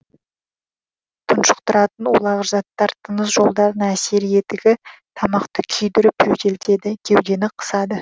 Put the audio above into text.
тұншықтыратын улағыш заттар тыныс жолдарына әсер етігі тамақты күйдіріп жөтелтеді кеудені қысады